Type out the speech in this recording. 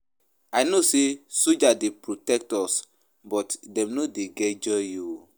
I know sey soldiers dey protect us but dem no get joy o.